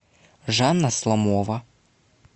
жанна сломова